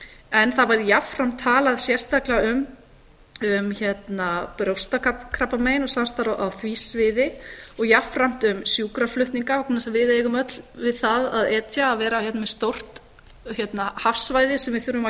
en það var jafnframt talað sérstaklega um brjóstakrabbamein og samstarf á því sviði og jafnframt um sjúkraflutninga vegna þess að við eigum öll við það að etja að vera hérna með stórt hafsvæði sem við þurfum að